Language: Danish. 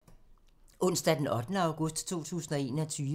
Søndag d. 8. august 2021